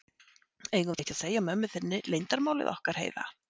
Eigum við ekki að segja mömmu þinni leyndarmálið okkar, Heiða?